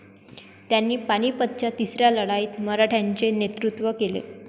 त्यांनी पानिपतच्या तिसऱ्या लढाईत मराठ्यांचे नेतृत्व केले.